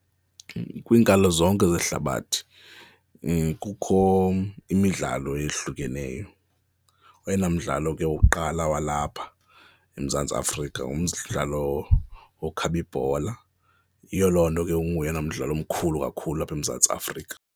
Kwiinkalo zonke zehlabathi kukho imidlalo eyehlukeneyo. Oyena mdlalo ke wokuqala walapha eMzantsi Afrika ngumdlalo wokukhaba ibhola, yiyo loo nto ke unguyena mdlalo mkhulu kakhulu apha eMzantsi Afrika.